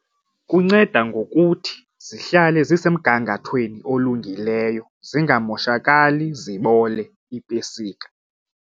Kunceda ngokuthi zihlale zisemgangathweni olungileyo zingamoshakali zibole iipesika.